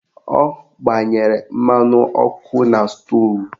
Ọ gbanyere mmanụ ọkụ na stoovu